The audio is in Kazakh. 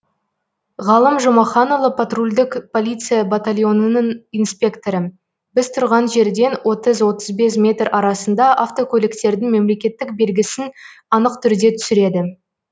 ғалым жұмаханұлы патрульдік полиция батальонының инспекторы біз тұрған жерден отыз отыз бес метр арасында автокөліктердің мемлекеттік белгісін анық түрде түсіреді